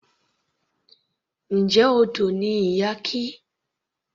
Njẹ́ odò ni Iyake.